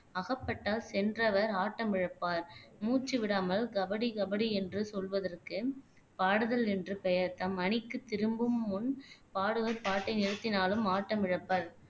அகப்பட்டால் சென்றவர் ஆட்டம் இழப்பார் மூச்சு விடாமல் கபடி கபடி என்று சொல்வதற்கு பாடுதல் என்று பெயர் தம் அணிக்கு திரும்பும் முன் பாடுவர் பாட்டை நிறுத்தினாலும் ஆட்டம் இழப்பர்